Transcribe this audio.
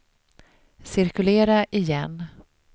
cirkulera igen